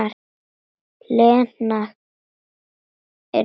Lena yrði kyrr.